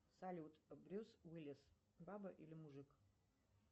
салют брюс уиллис баба или мужик